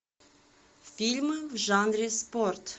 фильмы в жанре спорт